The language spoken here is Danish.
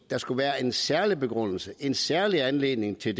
der skal være en særlig begrundelse en særlig anledning til